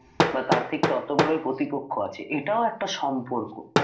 বা তার ঠিক তত বড়ই প্রতিপক্ষ আছে এটাও একটা সম্পর্ক